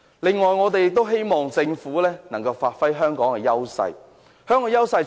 此外，我們希望政府能夠發揮香港的優勢。